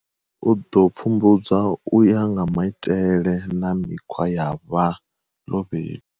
U ḓo pfumbudzwa u ya nga maitele na mikhwa ya vha ḽobedu.